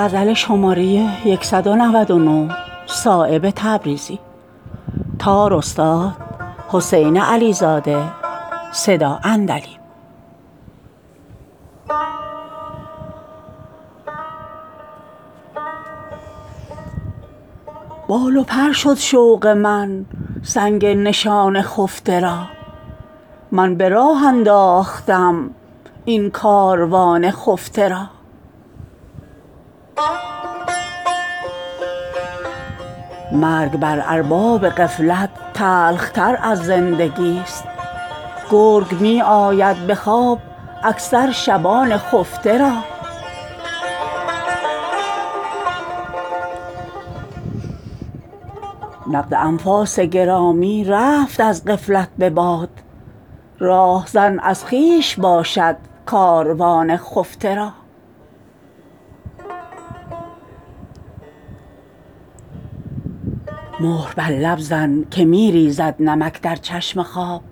بال و پر شد شوق من سنگ نشان خفته را من به راه انداختم این کاروان خفته را مرگ بر ارباب غفلت تلخ تر از زندگی است گرگ می آید به خواب اکثر شبان خفته را نقد انفاس گرامی رفت از غفلت به باد راهزن از خویش باشد کاروان خفته را مهر بر لب زن که می ریزد نمک در چشم خواب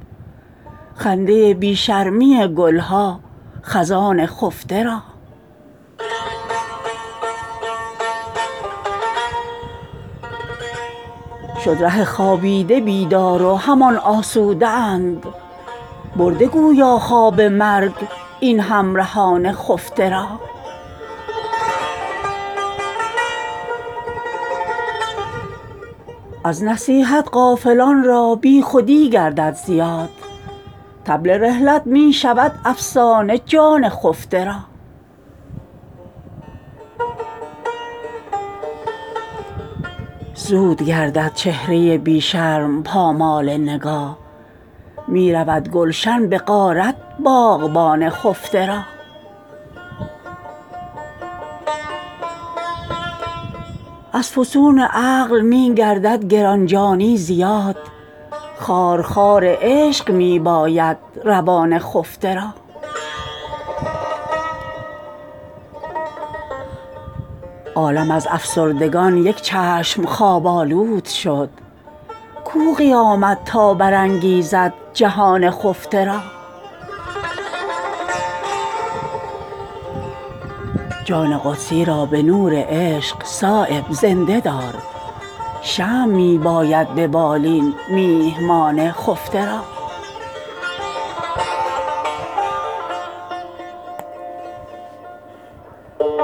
خنده بی شرمی گلها خزان خفته را شد ره خوابیده بیدار و همان آسوده اند برده گویا خواب مرگ این همرهان خفته را از نصیحت غافلان را بی خودی گردد زیاد طبل رحلت می شود افسانه جان خفته را زود گردد چهره بی شرم پامال نگاه می رود گلشن به غارت باغبان خفته را از فسون عقل می گردد گرانجانی زیاد خارخار عشق می باید روان خفته را عالم از افسردگان یک چشم خواب آلود شد کو قیامت تا برانگیزد جهان خفته را جان قدسی را به نور عشق صایب زنده دار شمع می باید به بالین میهمان خفته را